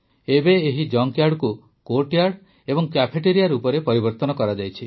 ଏବେ ଏହି ଜଙ୍କ୍ୟାର୍ଡକୁ କୋର୍ଟୟାର୍ଡ ଏବଂ କ୍ୟାଫେଟେରିଆ ରୂପରେ ପରିବର୍ତ୍ତନ କରାଯାଇଛି